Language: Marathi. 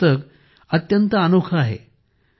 हे पुस्तक अत्यंत अनोखे आहे